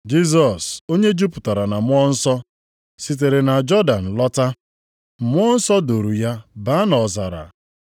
Jisọs, onye jupụtara na Mmụọ Nsọ, sitere na Jọdan lọta. Mmụọ nsọ duuru ya baa nʼọzara.